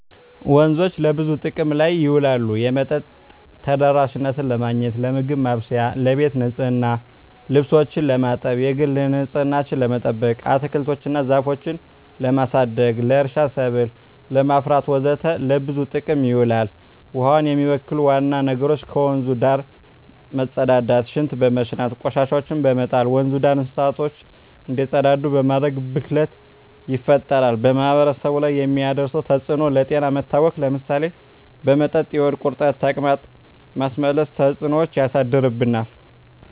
ወንዞች ለብዙ ጥቅም ላይ ይውላሉ የመጠጥ ተደራሽነትን ለማግኘት, ለምግብ ማብሰያ , ለቤት ንፅህና , ልብሶችን ለማጠብ, የግል ንፅህናችን ለመጠበቅ, አትክልቶች እና ዛፎችን ለማሳደግ, ለእርሻ ሰብል ለማፍራት ወዘተ ለብዙ ጥቅም ይውላል። ውሀውን የሚበክሉ ዋና ነገሮች ከወንዙ ዳር መፀዳዳት , ሽንት በመሽናት, ቆሻሻዎችን በመጣል, ወንዙ ዳር እንስሳቶች እንዲፀዳዱ በማድረግ ብክለት ይፈጠራል። በማህበረሰቡ ላይ የሚያደርሰው ተፅዕኖ ለጤና መታወክ ለምሳሌ በመጠጥ የሆድ ቁርጠት , ተቅማጥ, ማስመለስ ተፅዕኖች ያሳድርብናል።